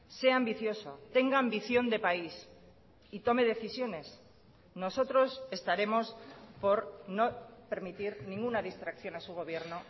sea ambicioso tenga ambición de país y tome decisiones nosotros estaremos por no permitir ninguna distracción a su gobierno